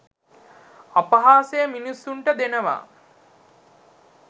අපහාසය මිනිසුන්ට දෙනවා